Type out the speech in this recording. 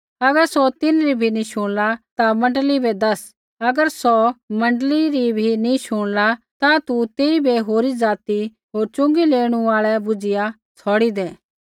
अगर सौ तिन्हरी बी नी शुणला ता मण्डली बै दैस अगर सौ मण्डली री भी नी शुणला ता तू तेइबै होरी ज़ाति होर च़ुँगी लेणू आल़ा बुझ़िया छ़ौड़ी दै